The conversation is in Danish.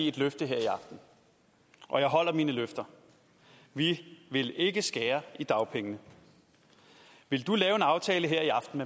et løfte her i aften og jeg holder mine løfter vi vil ikke skære i dagpengene vil du lave en aftale her i aften